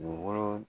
Dugukolo